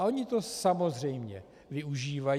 A oni to samozřejmě využívají.